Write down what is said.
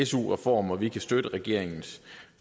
su reform og vi kan støtte regeringens